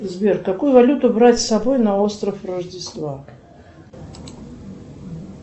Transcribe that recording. сбер какую валюту брать с собой на остров рождества